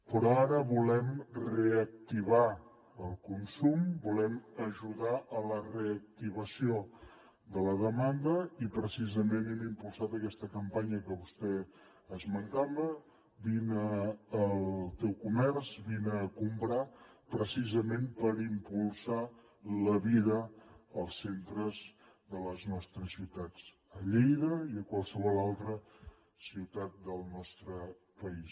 però ara volem reactivar el consum volem ajudar en la reactivació de la demanda i hem impulsat aquesta campanya que vostè esmentava vine al teu comerç vine a comprar precisament per impulsar la vida als centres de les nostres ciutats a lleida i a qualsevol altra ciutat del nostre país